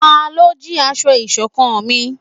Talọ́ jí aṣọ iṣọ̀kan mí?